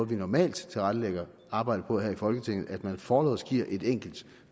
vi normalt tilrettelægger arbejdet på her i folketinget at man forlods giver et enkelt